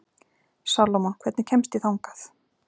Salómon, hvernig kemst ég þangað?